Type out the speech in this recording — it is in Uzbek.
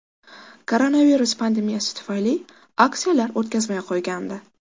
Koronavirus pandemiyasi tufayli aksiyalar o‘tkazmay qo‘ygandi.